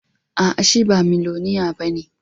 A'a, shi ba miloniya ba ne